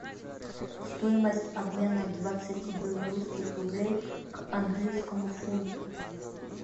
стоимость обмена двадцати белорусских рублей к английскому фунту